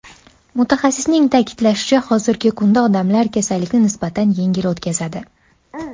Mutaxassisning ta’kidlashicha, hozirgi kunda odamlar kasallikni nisbatan yengil o‘tkazadi.